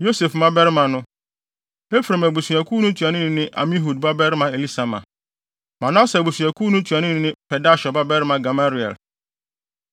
Yosef mmabarima no: Efraim abusuakuw no ntuanoni ne Amihud babarima Elisama; Manase abusuakuw no ntuanoni ne Pedahsur babarima Gamaliel;